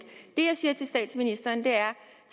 det jeg siger til statsministeren er